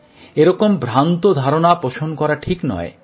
এরকম ভ্রান্ত ধারণা পোষণ করা ঠিক নয়